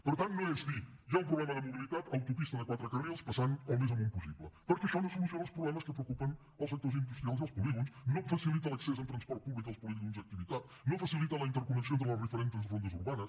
per tant no és dir hi ha un problema de mobilitat autopista de quatre carrils passant el més amunt possible perquè això no soluciona els problemes que preocupen els sectors industrials i els polígons no facilita l’accés en transport públic als polígons d’activitat no facilita la interconnexió entre les diferents rondes urbanes